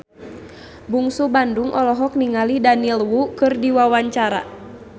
Bungsu Bandung olohok ningali Daniel Wu keur diwawancara